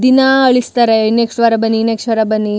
ದಿನಾ ಅಳಿಸ್ತಾರೆ ನೆಕ್ಸ್ಟ್ ವಾರ ಬನ್ನಿ ನೆಕ್ಸ್ಟ್ ವಾರ ಬನ್ನಿ --